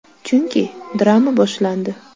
Chunki, drama boshlandi.